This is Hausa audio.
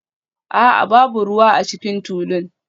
A'a, babu ruwa a cikin tulun